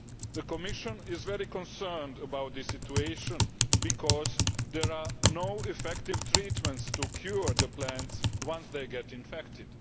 The Commission is very concerned about this situation because there is no effective treatment to cure the plants once they become infected.